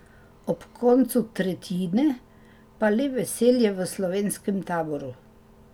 Ob koncu tretjine pa le veselje v slovenskem taboru.